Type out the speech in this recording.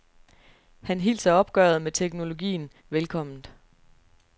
Han hilser opgøret med teknologien velkomment.